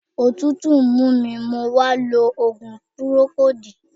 Òtútù mú mi mo wá lo òògùn pírókóòdù.